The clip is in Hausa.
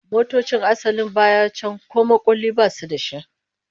Motocin asalin baya can ko makulli basu da shi